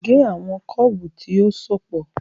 Gé àwọn kébù tí ó sopọ̀